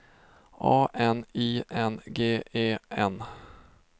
A N I N G E N